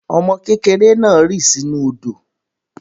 Ọmọ kékèrè naà rì sinú òdò